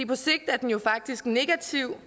på sigt er den jo faktisk negativ